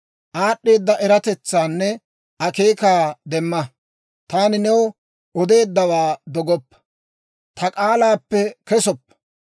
Aad'd'eeda eratetsaanne akeekaa demma; taani new odeeddawaa dogoppa; ta k'aalaappe kesoppa.